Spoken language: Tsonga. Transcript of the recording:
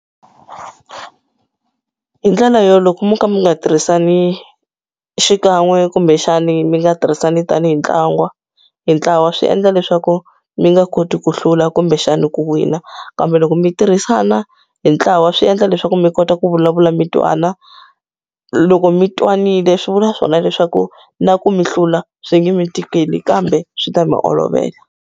Hi ndlela yo loko mo ka mi nga tirhisani xikan'we kumbexani mi nga tirhisani tanihi ntlangu hi ntlawa swi endla leswaku mi nga koti ku hlula kumbexani ku wina kambe loko mi tirhisana hi ntlawa swi endla leswaku mi kota ku vulavula mi twana loko mi twanile swi vula swona leswaku na ku mi hlula swi nge mi tikeli kambe swi ta mi olovela.